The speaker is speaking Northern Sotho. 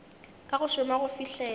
ka go šoma go fihlela